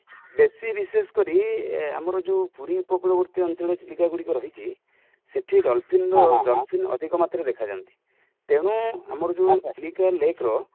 ବେଶୀ ବିଶେଷ କରି ଆମର ଯୋଉ ପୁରୀ ଉପକୂଳବର୍ତୀ ଅଞ୍ଚଳର ଜୀବିକା ଗୁଡିକ ରହିଛି ,ସେଠି dolphin ଅଧିକ ମାତ୍ର ରେ ଦେଖାଯାନ୍ତି| ତେଣୁ ଆମର ଯୋଉ ଚିଲିକା lake ର